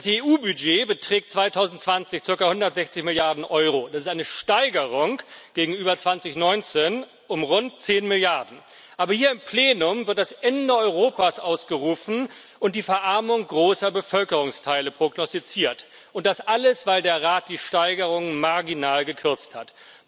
Das EU Budget beträgt 2020 circa 160 Milliarden Euro, das ist eine Steigerung gegenüber 2019 um rund 10 Milliarden, aber hier im Plenum wird das Ende Europas ausgerufen und die Verarmung großer Bevölkerungsteile prognostiziert, und das alles, weil der Rat die Steigerung marginal gekürzt hat.